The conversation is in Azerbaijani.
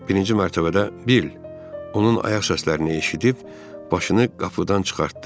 Birinci mərtəbədə Bill onun ayaq səslərini eşidib başını qapıdan çıxartdı.